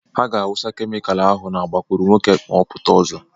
Ha ga-awụsa kemịkalụ ahụ na agbakụrụnwokē ma ọ pụta ọzọ.